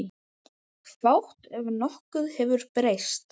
Fátt ef nokkuð hefur breyst.